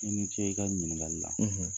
I ni ce i ka nin ɲiningali la.